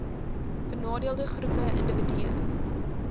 benadeelde groepe indiwidue